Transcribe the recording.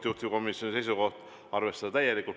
Juhtivkomisjoni seisukoht on arvestada täielikult.